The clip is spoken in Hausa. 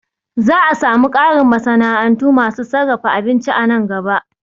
Za'a samu ƙarin masana'antu masu sarrafa abinci a nan gaba